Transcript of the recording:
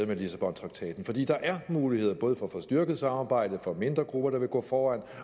med lissabontraktaten for der er muligheder både for at få styrket samarbejdet for mindre grupper der vil gå foran